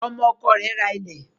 Ọmọ ọkọ rẹ̀ rà ilẹ